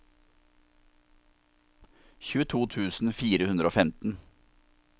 tjueto tusen fire hundre og femten